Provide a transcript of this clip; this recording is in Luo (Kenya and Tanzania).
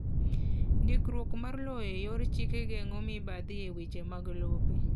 Ndikruok mar lowo e yor chik geng'o mibathi e weche mag lope.